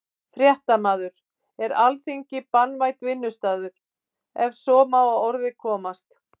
Fréttamaður: Er Alþingi barnvænn vinnustaður, ef svo má að orði komast?